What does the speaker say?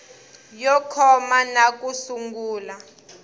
yo koma na ku sungula